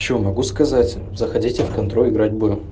что могу сказать заходите в контру играть будем